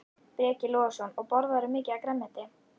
Breki Logason: Og borðarðu mikið af grænmeti?